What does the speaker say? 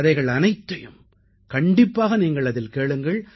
கதைகள் அனைத்தையும் கண்டிப்பாக நீங்கள் அதில் கேளுங்கள்